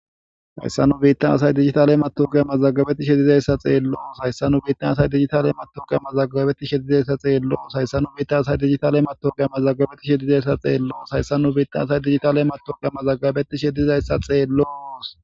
hayssa nu biitta asay digitaley matoga mazagabeti shedizayssa xeelloos hayssa nu biittan asay digitale matoga mazagabetti shedizayssa xeelloos hayssa nu biita asay digitale mato ga mazagabetti shedizayssa xeelloos hayssa nu biitta asay digitaley mato ga mazagabeti shedizayssa xeeloos